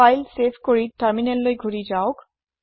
file save কৰি তাৰমিনেললৈ ঘুৰি যাওক